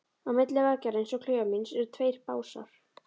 Á milli veggjarins og klefans míns eru tveir básar.